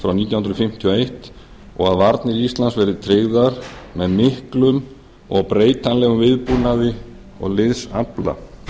frá nítján hundruð fimmtíu og eins og að varnir íslands verði tryggðar með miklum og breytanlegum viðbúnaði og liðsafla